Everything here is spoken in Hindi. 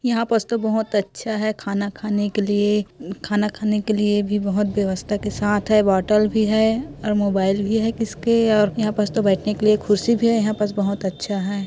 यहां पास तो बहोत अच्छा है खाना खाने के लिए खाना खाने के लिए भी बहोत बेवस्था के साथ है बॉटल भी है और मोबाइल भी है किसके और यहा पास तो बैठेने के लिए कुर्सी भी है यहां पास बहोत अच्छा है।